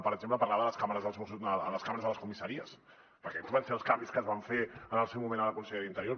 per exemple parlava de les càmeres a les comissaries perquè aquests van ser els canvis que es van fer en el seu moment a la conselleria d’interior